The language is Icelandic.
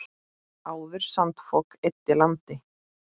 Áður sandfok eyddi landi.